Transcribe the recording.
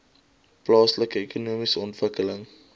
plaaslike ekonomiese ontwikkeling